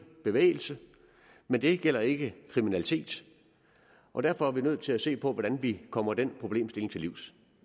bevægelse men det gælder ikke kriminalitet og derfor er vi nødt til at se på hvordan vi kommer den problemstilling til livs